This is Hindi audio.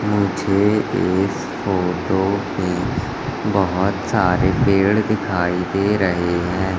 मुझे इस फोटो में बहोत सारे पेड़ दिखाई दे रहे है।